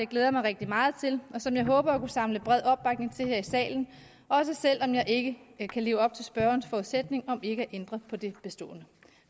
glæder mig rigtig meget til og som jeg håber at kunne samle bred opbakning til her i salen også selv om jeg ikke kan kan leve op til spørgerens forudsætning om ikke at ændre på det bestående